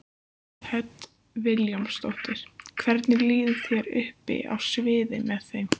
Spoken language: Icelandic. Hödd Vilhjálmsdóttir: Hvernig líður þér uppi á sviði með þeim?